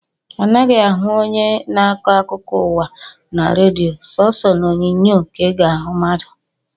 A naghị ahụ onye na-akọ akụkọ ụwa na redio, sooso n’onyonyo ka ị ga-ahụ mmadụ